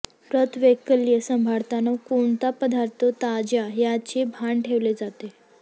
व्रतवैकल्ये सांभाळताना कोणता पदार्थ त्याज्य याचे भान ठेवले जाते